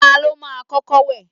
Ta ló máa kọ́kọ́ wẹ̀?